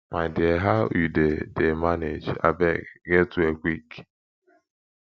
my dear how you dey dey manage abeg get well quick